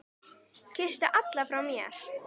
Kysstu alla frá mér.